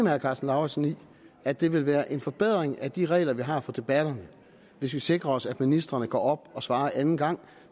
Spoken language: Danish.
herre karsten lauritzen i at det vil være en forbedring af de regler vi har for debatterne hvis vi sikrer os at ministrene går op og svarer anden gang